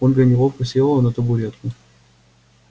ольга неловко села на табуретку